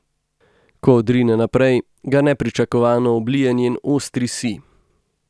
Ko odrine naprej, ga nepričakovano oblije njen ostri sij.